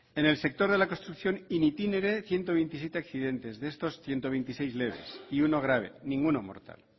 en el sector de la construcción in itinere ciento veintisiete accidentes de estos ciento veintiséis leves y uno grave ninguno mortal